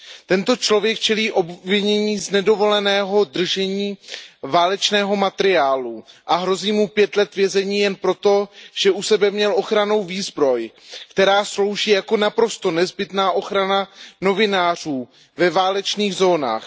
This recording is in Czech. Tento člověk čelí obvinění z nedovoleného držení válečného materiálu a hrozí mu pět let vězení jen pro to, že u sebe měl ochranou výzbroj, která slouží jako naprosto nezbytná ochrana novinářů ve válečných zónách.